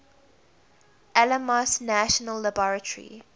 alamos national laboratory